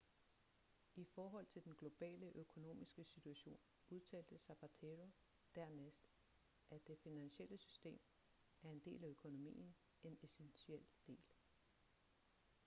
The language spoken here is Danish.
i forhold til den globale økonomiske situation udtalte zapatero dernæst at det finansielle system er en del af økonomien en essentiel del